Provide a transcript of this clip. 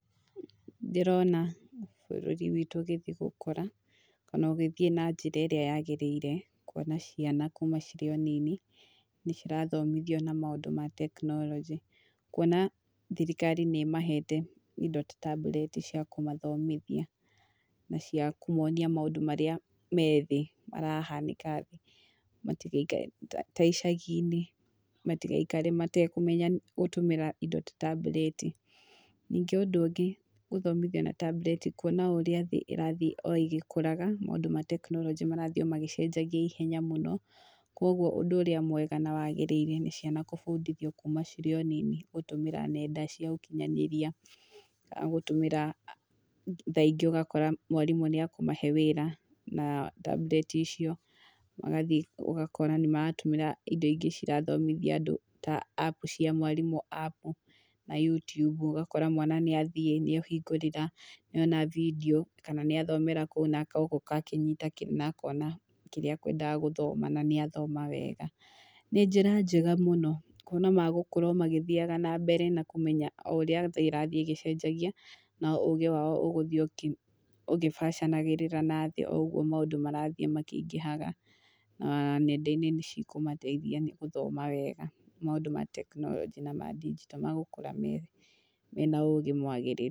Ndĩrona bũrũri witũ ũgĩthiĩ gũkũra, kana ũgĩthiĩ na njĩra ĩrĩa yagĩrĩire, kuona ciana kuuma cirĩ o nini, nĩ cirathomithio na maũndũ ma tekinoronjĩ, kuona thirikari nĩ ĩmahete indo ta tambureti cia kũmathomithia, na cia kũmonia maũndũ marĩa me thĩ marahanĩka matigaikare ta icagi-inĩ, matigaikare matekũmenya gũtũmĩra indo ta tambureti. Ningĩ ũndũ ũngĩ gũthomithia na tambureti kuona o ũrĩa thĩ ĩrathiĩ o ĩgĩkũraga maũndũ a tekinoronjĩ marathiĩ magĩcenjagia ihenya mũno, koguo ũndũ ũrĩa mwega na wagĩrĩire nĩ ciana gũbundithio kuuma cirĩ o nini gũtũmĩra nenda cia ũkinyanĩria, kana gũtũmĩra, thaa ingĩ ũgakora mwarimũ nĩ akũmahe wĩra, na tambureti icio, magathiĩ ũgakora nĩ maratũmĩra indo ingĩ cirathomithia andũ ta apu cia mwarimũ apu na Youtube ũgakora mwana nĩ athiĩ nĩ ahingũrĩra, nĩona bindiũ, kana nĩ athomera kũu na agoka akĩnyita na akona kĩrĩa akwendaga gũthoma na nĩ athoma wega. Nĩ njĩra njega mũno kuona magũkũra o magĩthiaga na mbere na kũmenya o ũrĩa thĩ ĩrathiĩ ĩgĩcenjagia na ũgĩ wao ũgũthiĩ ũgĩbacanagĩrĩra na thĩ o ũguo maũndũ marathiĩ makĩingĩhaga, na nenda-inĩ nĩ cikũmateithia nĩ gũthoma wega maũndũ ma tekinoronjĩ na ma ndinjito magũkũra me mena ũgĩ mwagĩrĩru.